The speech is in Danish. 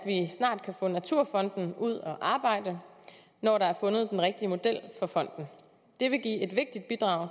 snart kan få naturfonden ud at arbejde når der er fundet den rigtige model for fonden det vil give et vigtigt bidrag